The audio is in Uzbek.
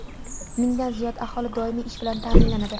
Mingdan ziyod aholi doimiy ish bilan ta’minlanadi.